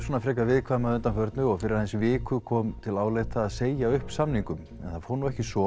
viðkvæm að undanförnu og fyrir aðeins viku kom til álita að segja upp samningum en það fór ekki svo